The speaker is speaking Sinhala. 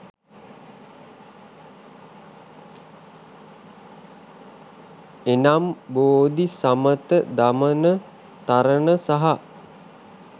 එනම් බෝධි, සමථ, දමන, තරණ සහ